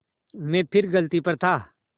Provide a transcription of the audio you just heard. मैं फिर गलती पर था